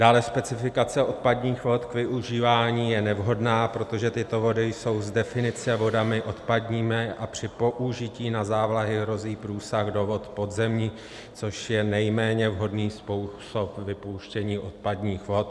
Dále, specifikace odpadních vod k využívání je nevhodná, protože tyto vody jsou z definice vodami odpadními a při použití na závlahy hrozí průsak do vod podzemních, což je nejméně vhodný způsob vypouštění odpadních vod.